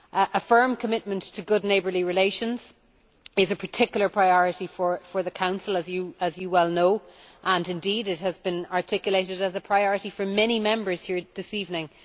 A firm commitment to good neighbourly relations is a particular priority for the Council, as you well know, and indeed it has been articulated as a priority by many Members here this evening.